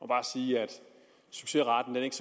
bare sige at succesraten ikke